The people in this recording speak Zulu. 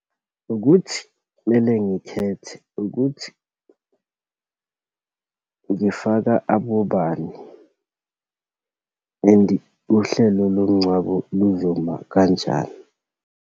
Ukuthi kumele ngikhethe ukuthi ngifaka abobani and uhlelo lomngcwabo luzoma kanjani.